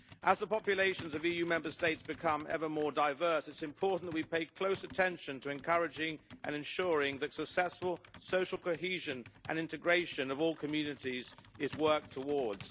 As the populations of EU Member States become ever more diverse it is important we pay close attention to encouraging and ensuring that the successful social cohesion and integration of all communities is worked towards.